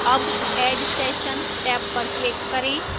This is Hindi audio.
add add session टैब पर click करें